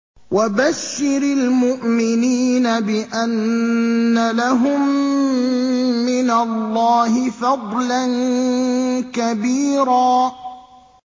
وَبَشِّرِ الْمُؤْمِنِينَ بِأَنَّ لَهُم مِّنَ اللَّهِ فَضْلًا كَبِيرًا